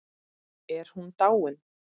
Er hún dáin?